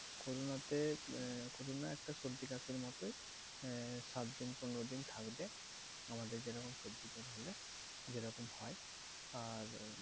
Corona তে corona একটা সর্দি কাশির মতোই আহ সাতদিন পনেরোদিন থাকবে। আমাদের যেরকম সর্দি কাশি হয় যেরকম হয়। আর